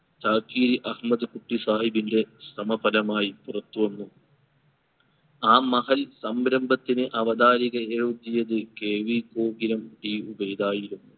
ചാക്കിരി അഹമ്മദ് കുട്ടി സാഹിബിൻറെ സമപരമായി പുറത്തു വന്നു. ആ മഹൽ സംരംഭത്തിന് അവതാരിക എത്തിയത് KV കോകിലം T ഉബൈദ് ആയിരുന്നു